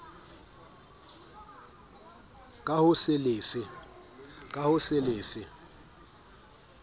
ka ho se le fe